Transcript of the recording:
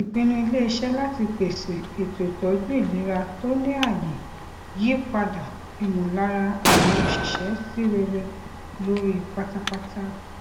ìpinnu iléiṣẹ láti pèsè ètò ìtọju ilera tó ní ààyè yí padà ìmọlára àwọn òṣìṣẹ sí rere lórí pátápátá